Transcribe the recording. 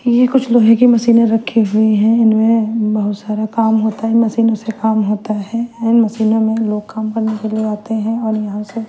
ये कुछ लोहे की मशीने रखी हुई है इनमे बहुत सारा काम होता है इन मशीनो से काम होता है एंड मशीनो मे लोग काम करने के लिए आते है और यहाँ से--